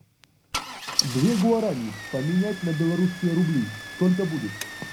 две гуарани поменять на белорусские рубли сколько будет